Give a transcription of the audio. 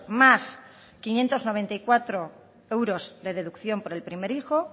más quinientos noventa y cuatro euros de deducción por el primer hijo